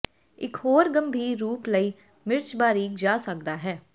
ਇੱਕ ਹੋਰ ਗੰਭੀਰ ਰੂਪ ਲਈ ਮਿਰਚ ਬਾਰੀਕ ਜਾ ਸਕਦਾ ਹੈ